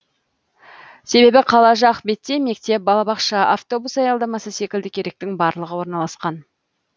себебі қала жақ бетте мектеп балабақша автобус аялдамасы секілді керектінің барлығы орналасқан